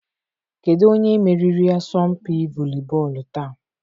Kedu onye meriri asọmpi volibọọlụ taa?